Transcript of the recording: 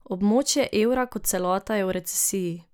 Območje evra kot celota je v recesiji.